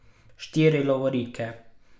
Štiri lovorike!